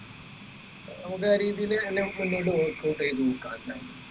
നമുക്ക് ആ രീതിയിൽ മുന്നോട്ടു workout ചെയ്ത നോക്കാം എന്തായാലും